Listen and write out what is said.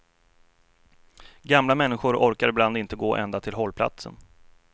Gamla människor orkar ibland inte gå ända till hållplatsen.